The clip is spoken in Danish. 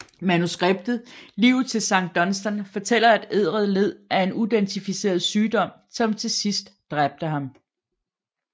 Manuskriptet Livet til Sankt Dunstan fortæller at Edred led af en uidentificeret sygdom som til sidst dræbte ham